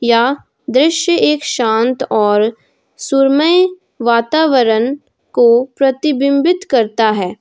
यह दृश्य एक शांत और सुरमई वातावरण को प्रतिबिंबित करता है।